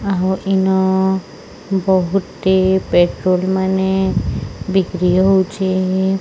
ଆହୁ ଇନ ବହୁଟି ପେଟ୍ରୋଲ୍ ମାନେ ବିକ୍ରି ହୋଉଚେ।